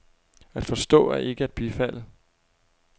At forstå er ikke at bifalde.